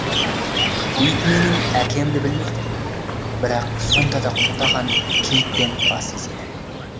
ит менің әкемді білмейтін бірақ сонда да құптаған кейіппен бас изеді